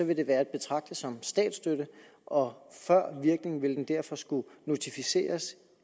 vil det være at betragte som statsstøtte og før virkning ville den derfor skulle notificeres